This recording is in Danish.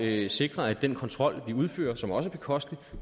vi sikrer at den kontrol vi udfører som også er bekostelig